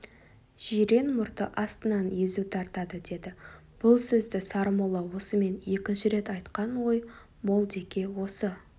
жирен мұрты астынан езу тартады деді бұл сөзді сармолла осымен екінші рет айтқан ой молдеке осы